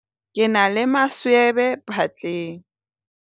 ke na le maswebe phatleng